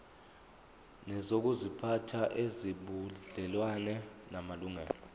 nezokuziphatha ezinobudlelwano namalungelo